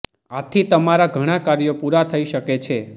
આથી તમારા ઘણા કાર્યો પુરા થઇ શકે છે